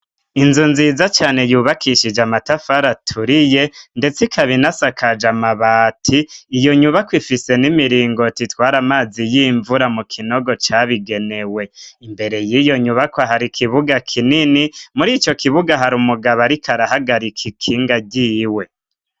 Inzu nziza cane yubakishije amatafari aturiye ndetse ikabina sakaje amabati .Iyo nyubako ifise n'imiringo titwari amazi y'imvura mu kinogo cabigenewe imbere y'iyo nyubako hari kibuga kinini muri ico kibuga hari umugabo arikarahagarika ikinga giyiwe.